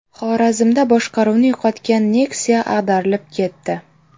Xorazmda boshqaruvni yo‘qotgan Nexia ag‘darilib ketdi.